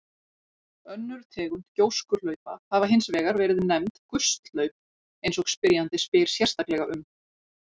Önnur tegund gjóskuhlaupa hafa hins vegar verið nefnd gusthlaup eins og spyrjandi spyr sérstaklega um.